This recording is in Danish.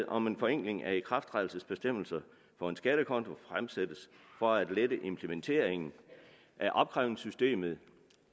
om en forenkling af ikrafttrædelsesbestemmelse for én skattekonto fremsættes for at lette implementeringen af opkrævningssystemet